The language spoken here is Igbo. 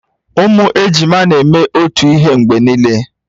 Ụmụ ejima na-eme otu ihe mgbe niile